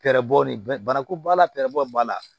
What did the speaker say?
Fɛrɛbɔ ni bana ko b'a la pɛrɛbɔw b'a la